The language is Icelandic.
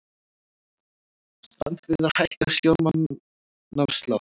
Strandveiðar hækka sjómannaafslátt